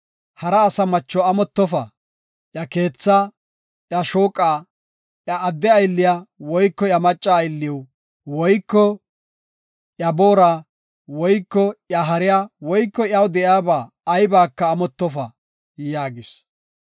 “Hara asa macho amottofa; iya keethaa, iya shooqa, iya adde aylliya woyko iya macca aylliw woyko iya boora woyko iya hariya woyko iyaw de7iyaba aybaka amottofa” yaagis.